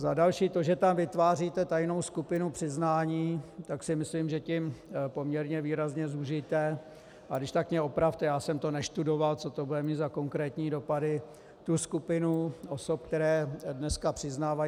Za další to, že tam vytváříte tajnou skupinu přiznání, tak si myslím, že tím poměrně výrazně zúžíte - a když tak mě opravte, já jsem to nestudoval, co to bude mít za konkrétní dopady - tu skupinu osob, které dneska přiznávají.